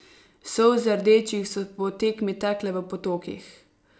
Solze rdečih so po tekmi tekle v potokih.